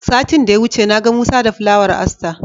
Satin da ya wuce na ga Musa da Fulawar Aster.